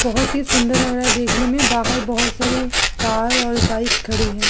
बहोत ही सुंदर लग रहा है देखने में बाहर बहोत सारी कार और बाइक खड़ी हैं।